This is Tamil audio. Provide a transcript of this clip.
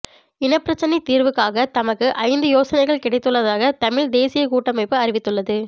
இனப்பிரச்சினை தீர்வுக்காக தமக்கு ஐந்து யோசனைகள் கிடைத்துள்ளதாக தமிழ் தேசியக் கூட்டமைப்பு அறிவித்துள்ளது